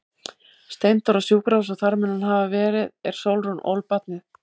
Steindór á sjúkrahús og þar mun hann hafa verið er Sólrún ól barnið.